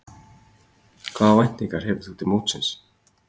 Hvaða væntingar hefur þú til mótsins?